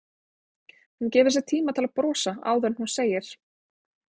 Hún gefur sér tíma til að brosa áður en hún segir